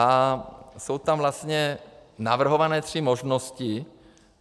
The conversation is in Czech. A jsou tam vlastně navrhované tři možnosti.